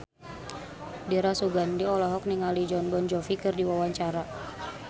Dira Sugandi olohok ningali Jon Bon Jovi keur diwawancara